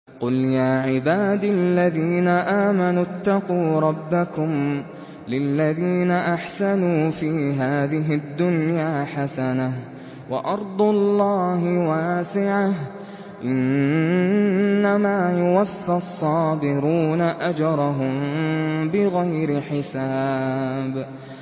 قُلْ يَا عِبَادِ الَّذِينَ آمَنُوا اتَّقُوا رَبَّكُمْ ۚ لِلَّذِينَ أَحْسَنُوا فِي هَٰذِهِ الدُّنْيَا حَسَنَةٌ ۗ وَأَرْضُ اللَّهِ وَاسِعَةٌ ۗ إِنَّمَا يُوَفَّى الصَّابِرُونَ أَجْرَهُم بِغَيْرِ حِسَابٍ